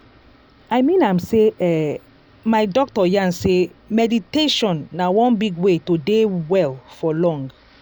i mean am sey eh my doctor yarn sey meditation na one big way to dey well for long.